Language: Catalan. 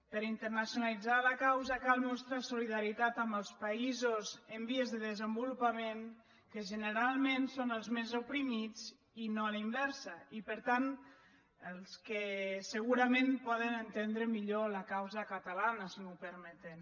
per internacionalitzar la causa cal mostrar solidaritat amb els països en vies de desenvolupament que generalment són els més oprimits i no a la inversa i per tant els que segurament poden entendre millor la causa catalana si m’ho permeten